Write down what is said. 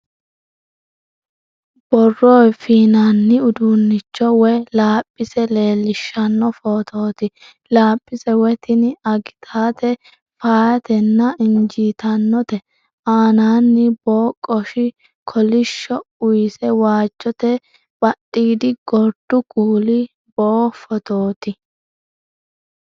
Borrow fiinanni udiinnicho woy laaphise leellishshanno footooti. laaphise woy tini agitate feyaateno injiitannote. Aanaanni boo qoshi kolishsho use waajjote badhiidi gordu kuuli boo footooti